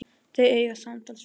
Þau eiga samtals fjögur börn.